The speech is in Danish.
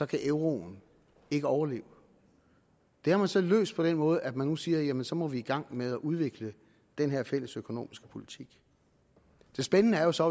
kan euroen ikke overleve det har man så løst på den måde at man nu siger jamen så må vi i gang med at udvikle den her fælles økonomiske politik det spændende er jo så